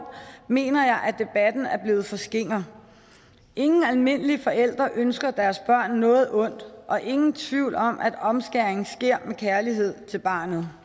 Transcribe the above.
mener jeg at debatten er blevet for skinger ingen almindelige forældre ønsker deres børn noget ondt og ingen tvivl om at omskæringen sker med kærlighed til barnet